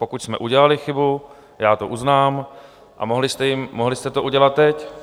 Pokud jsme udělali chybu, já to uznám, a mohli jste to udělat teď.